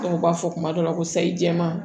u b'a fɔ kuma dɔw la ko sayi jɛman